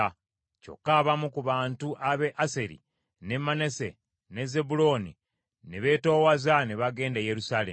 Kyokka abamu ku bantu ab’e Aseri, ne Manase ne Zebbulooni ne beetoowaza ne bagenda e Yerusaalemi.